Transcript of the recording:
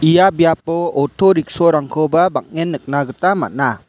ia biapo oto rickshaw-rangkoba bang·en nikna gita man·a.